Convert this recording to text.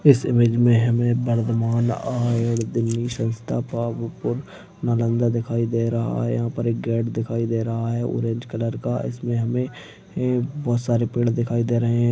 इस इमेज मे हमे वर्धमान आयुर दिल्ली संस्था पावापुर नालन्दा दिखाई दे रहा है यहां पर एक गेट दिखाई दे रहा है ऑरेंज कलर का इसमे हमे बहुत सारे पेड़ दिखाई दे रहे है।